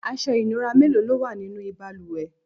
aṣọ ìnura mélòó lówà nínú ìbalùwẹ̀?